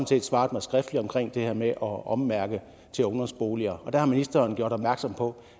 set svaret mig skriftligt omkring det her med at ommærke til ungdomsboliger og der har ministeren gjort opmærksom på